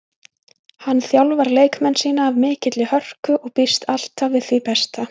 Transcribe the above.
Hann þjálfar leikmenn sína af mikilli hörku og býst alltaf við því besta.